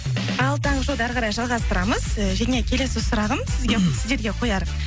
ал таңғы шоуды әріқарай жалғастырамыз і және келесі сұрағым сіздерге қояр